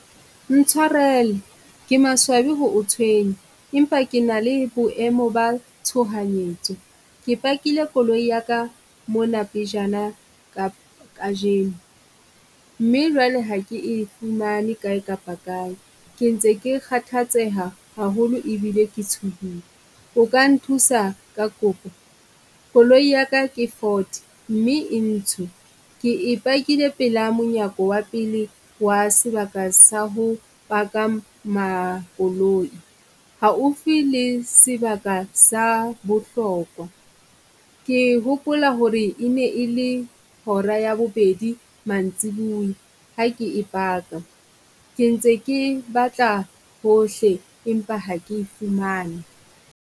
Ntshwarele ke maswabi ho o tshwenya empa ke na le boemo ba tshohanyetso. Ke pakile koloi ya ka mona pejana kajeno, mme jwale ha ke e fumane ka e kapa ka e. Ke ntse ke kgathatseha haholo ebile ke tsohile, o ka nthusa ka kopo? Koloi ya ka ke Ford mme e ntho, ke e pakile pela monyako wa pele wa sebaka sa ho paka Makoloi. Haufi le sebaka sa bohlokwa. Ke hopola ho re e ne e le hora ya bobedi mantsibuya ha ke e paka, ke ntse ke batla hohle empa ha ke fumane.